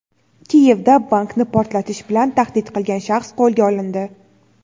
Kiyevda bankni portlatish bilan tahdid qilgan shaxs qo‘lga olindi.